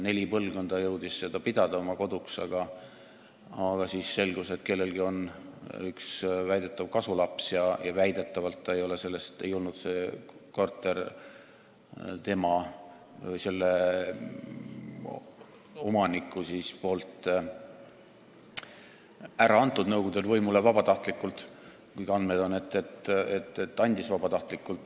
Neli põlvkonda jõudis seda pidada oma koduks, aga siis selgus, et kellelgi on üks väidetav kasulaps ja väidetavalt ei olnud tema, see omanik, seda Nõukogude võimule andnud vabatahtlikult, kuigi andmed on, et andis vabatahtlikult.